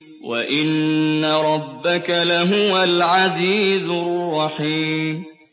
وَإِنَّ رَبَّكَ لَهُوَ الْعَزِيزُ الرَّحِيمُ